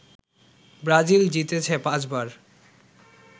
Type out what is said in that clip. Brazil জিতেছে পাঁচবার